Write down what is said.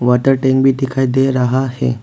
Water tank भी दिखाई दे रहा है।